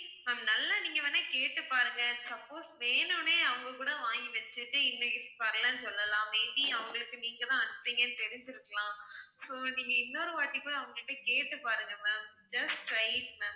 ma'am நல்லா நீங்க வந்து கேட்டு பாருங்க suppose வேணும்னே அவுங்க கூட வாங்கி வச்சு கிட்டு இன்னும் வரலைன்னு சொல்லலாம், may be அவங்களுக்கு நீங்க தான் அனுப்புனீங்கன்னு தெரிஞ்சுருக்கலாம் so நீங்க இன்னொரு வாட்டி கூட அவங்க கிட்ட கேட்டு பாருங்க ma'am, just try it ma'am